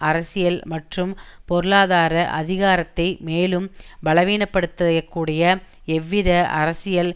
அரசியல் மற்றும் பொருளாதார அதிகாரத்தை மேலும் பலவீனப்படுத்திய கூடிய எவ்வித அரசியல்